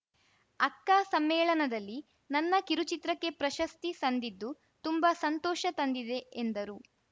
ಅಕ್ಕ ಸಮ್ಮೇಳನದಲ್ಲಿ ನನ್ನ ಕಿರುಚಿತ್ರಕ್ಕೆ ಪ್ರಶಸ್ತಿ ಸಂದಿದ್ದು ತುಂಬಾ ಸಂತೋಷ ತಂದಿದೆ ಎಂದರು